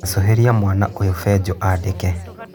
acũhĩria mwana ũyũ benjo andĩke.